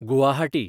Guwahati